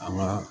An ka